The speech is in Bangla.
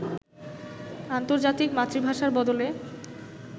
আন্তর্জাতিক মাতৃভাষার বদলে